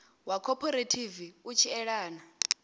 wa khophorethivi u tshi elana